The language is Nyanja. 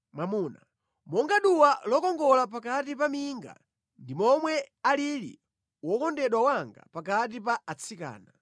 Monga duwa lokongola pakati pa minga ndi momwe alili wokondedwa wanga pakati pa atsikana.